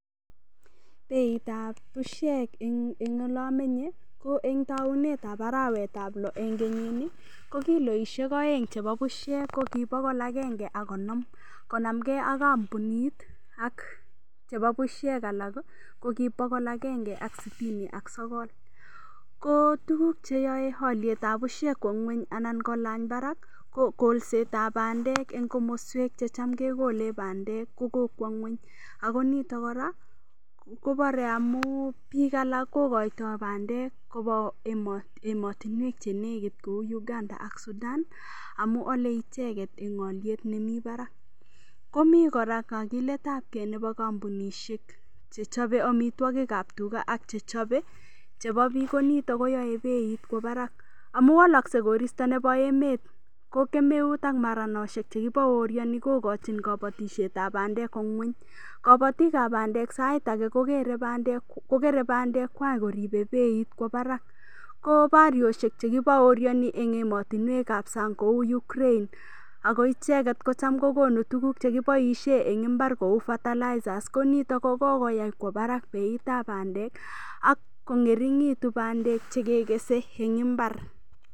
Beitab bushek eng' ole amenye ko eng' taunetab arawetab loo eng' kenyini ko kiloishek oeng' chebo bushek ko kibokol agenge ak konom konamgei ak kampunit chebo bushek alak ko kibokol agenge ak sitini ak sogol ko tuguk cheyoei olitab bushek kwo ng'weny anan kolany barak ko kolsetab bandek eng' komoswek checham kekolei bandek kukokwo ng'weny ako nito kora kobarei amu biik alak kokoitoi bandek koba emotinwek chenekit kou Uganda ak Sudan amu olei icheget eng' oliet nemi barak komi kora kakiletab kei nebo kampunishek chechobei omitwokikab tuga ak chechobei chebo biik konito koyoe beit kwo barak amu waloskei koristo nebo emet ko kemeut ak maranoshek chekibaoriani kokochin kobatishetab bandek kwo ng'weny kabatikab sait age kogerei bandekwak koribei beit kwo barak ko barioshek chekibaoriani eng' ematinwekab sang' kou Ukraine ako icheget ko cham kokonu tuguk chekiboishe eng' imbar kou fertilizes konito kokokoyai kwo Barak beitab bandek akong'ering'itu bandek chekekeshei eng imbar